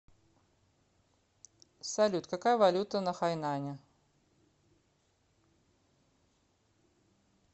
салют какая валюта на хайнане